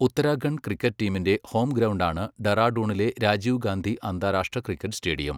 Uttarakhand cricket ടീമിന്റെ home ഗ്രൗണ്ടാണ് ഡെറാഡൂണിലെ രാജീവ് ഗാന്ധി അന്താരാഷ്ട്ര ക്രിക്കറ്റ് സ്റ്റേഡിയം.